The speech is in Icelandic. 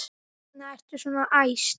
Hvers vegna ertu svona æst?